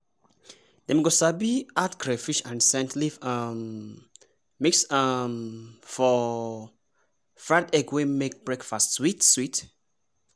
dem go sabi add crayfish and scent leaf um mix um for fried egg wey make breakfast sweet-sweet.